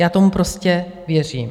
Já tomu prostě věřím.